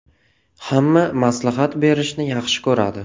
Hamma maslahat berishni yaxshi ko‘radi.